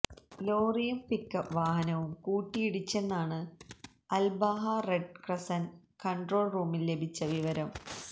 ലോറിയും പിക്അപ്പ് വാഹനവും കൂട്ടിയിടിച്ചെന്നാണ് അല്ബാഹ റെഡ് ക്രസന്റ് കണ്ട്രോള് റൂമില് ലഭിച്ച വിവരം